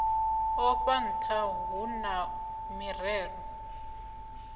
afho ntha hu na mirero